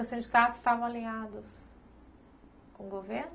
Os sindicatos estavam alinhados com o governo?